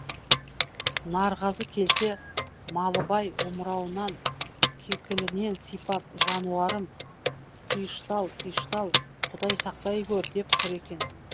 нарғазы келсе малыбай омырауынан кекілінен сипап жануарым тиыштал тиыштал құдай сақтай гөр деп тұр екен